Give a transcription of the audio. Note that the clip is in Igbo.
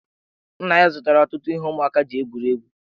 Nna ya zụtara ya ọtụtụ ihe ụmụaka ji egwuri egwu.